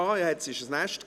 Da gab es ein Nest.